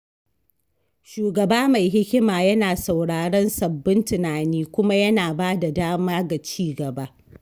Shugaba mai hikima yana sauraron sabbin tunani kuma yana ba da dama ga ci gaba.